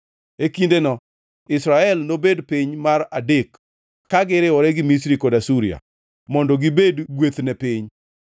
E kindeno Israel nobed piny mar adek ka giriwore gi Misri kod Asuria mondo gibed gweth ne piny.